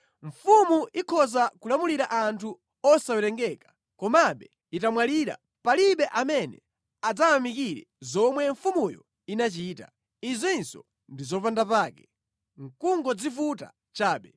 Mfumu ikhoza kulamulira anthu osawerengeka, komabe itamwalira, palibe amene adzayamikire zomwe mfumuyo inachita. Izinso ndi zopandapake, nʼkungozivuta chabe.